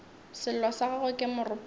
sello sa gagwe ke moropana